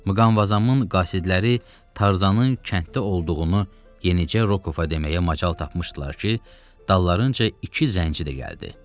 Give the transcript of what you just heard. Muqanbazamın qasidləri Tarzanın kənddə olduğunu yenicə Rokova deməyə macal tapmışdılar ki, dallarınca iki zənci də gəldi.